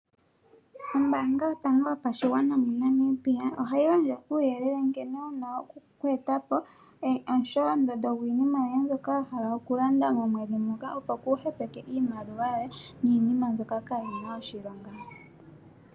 Ombanga yotango yopashigwana yomo Namibia ohayi gandja uuyelele nkene wu na okweetapo omusholondondo gwiinima yoye mbyoka wa hala okulanda momwedhi moka opo kuuhepeke iimaliwa yoye niinima mbyoka kayi na oshilonga.